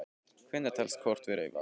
Hvenær telst kort vera í vanskilum?